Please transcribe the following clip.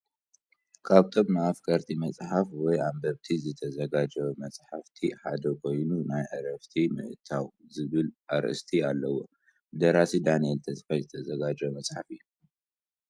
ካብቶም ን ኣፍቀርቲ መጽሓፍ ወይ ኣንበብቲ ዝተዘጋጀዉ መጽሓፍቲ ሓደ ኮይኑ ናይ ዕረፍቲ ምእታው ዝበል ኣርእስቲ ኣለዎ ብ ደራሲ ዳንኤል ተስፋይ ዝተዘጋጀወ መጽሓፍ እዩ።